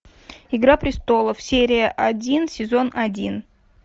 игра престолов серия один сезон один